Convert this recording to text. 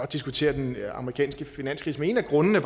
diskutere den amerikanske finanskrise men en af grundene